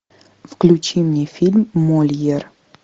включи мне фильм мольер